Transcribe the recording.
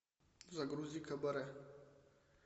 загрузи кабаре